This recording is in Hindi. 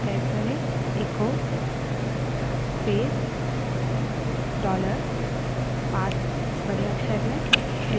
फिर से terminal पर echo space dollar path echo space dollar path बड़े अक्षर में type करें